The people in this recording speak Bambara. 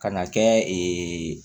Kan'a kɛ